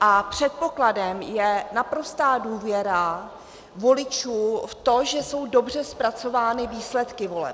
a předpokladem je naprostá důvěra voličů v to, že jsou dobře zpracovány výsledky voleb.